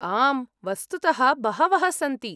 आम्, वस्तुतः बहवः सन्ति।